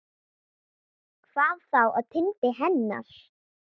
Hvað þá á tindi hennar.